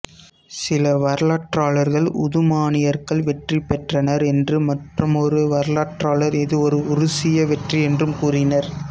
சில வரலாற்றாளர்கள் உதுமானியர்கள் வெற்றி பெற்றனர் என்றும் மற்றுமொரு வரலாற்றாளர் இது ஒரு உருசிய வெற்றி என்றும் கூறினர்